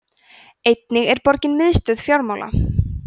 einnig er borgin miðstöð fjármála